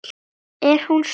Er hún stór?